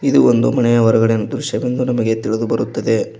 ಇದು ಒಂದು ಮಣೆಯ ಹೊರಗಡೆ ದೃಶ್ಯವೆಂದು ನಮಗೆ ತಿಳಿದು ಬರುತ್ತದೆ.